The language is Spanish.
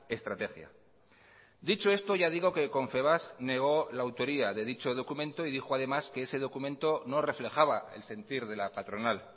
estrategia dicho esto ya digo que confebask negó la autoría de dicho documento y dijo además que ese documento no reflejaba el sentir de la patronal